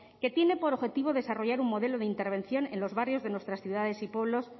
que tiene por objetivo desarrollar un modelo de intervención en los barrios de nuestras ciudades y pueblos